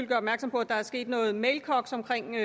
gøre opmærksom på at der er sket noget mailkoks omkring